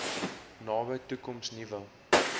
nabye toekoms nuwe